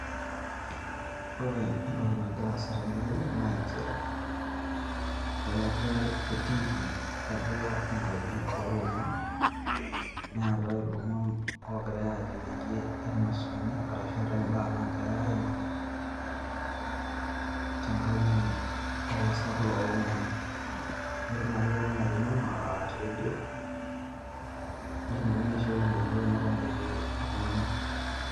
Ore entoki nagira aasa tene wueji naa nchere eetae etiiki atua enkaji oo lomon. Neetae ilomon oogirai aajo pee inosuni ashu eetae imbaa naagirai aimaki, te nkaji oo lasirak loo lomon. Pee etumoki poki ng`ae atoding`o te redio netumokini aishooi ilo kilikuai mebaiki iltung`anak.